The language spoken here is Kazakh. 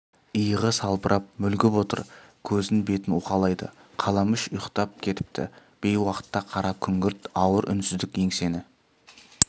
иығы салбырап мүлгіп отыр көзін бетін уқалайды қаламүш ұйықтап кетіпті бейуақытта қара күңгірт ауыр үнсіздік еңсені